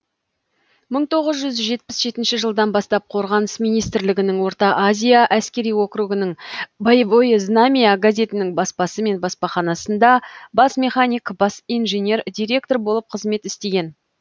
мың тоғыз жүз жетпіс жетінші жылдан бастап қорғаныс министрлігінің орта азия әскери округінің боевое знамя газетінің баспасы мен баспаханасында бас механик бас инженер директор болып қызмет істеген